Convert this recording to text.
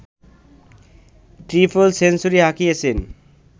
triple century হাঁকিয়েছেন